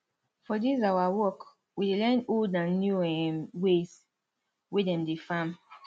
for dis awa work we dey learn old and new um ways wey dem dey farm